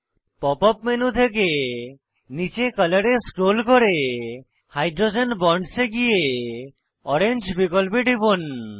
pop up menu থেকে নীচে colour এ স্ক্রোল করে হাইড্রোজেন বন্ডস এ গিয়ে ওরেঞ্জ বিকল্পে টিপুন